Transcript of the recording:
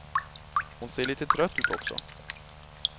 Hon ser lite trött ut också.